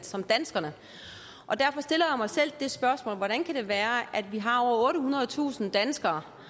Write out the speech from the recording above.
som danskerne og derfor stiller jeg mig selv det spørgsmål hvordan kan det være at vi har over ottehundredetusind danskere